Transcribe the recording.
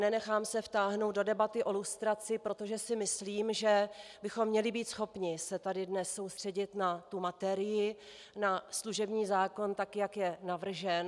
Nenechám se vtáhnout do debaty o lustraci, protože si myslím, že bychom měli být schopni se tady dnes soustředit na tu materii, na služební zákon, tak jak je navržen.